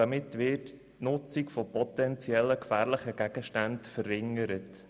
Damit werde die Nutzung potenziell gefährlicher Gegenstände verringert.